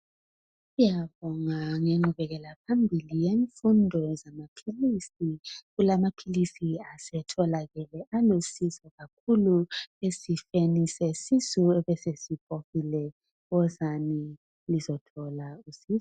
Siyabonga ngengqubekela phambili ngemfundo yezamaphilisi. Kulamaphilisi asetholakele alusizo kakhulu esifeni sesisu ebesebhokile. Wozani lizothola usizo.